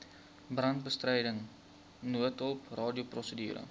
brandbestryding noodhulp radioprosedure